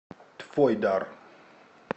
твойдар